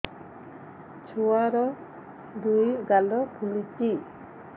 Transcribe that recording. ଛୁଆର୍ ଦୁଇ ଗାଲ ଫୁଲିଚି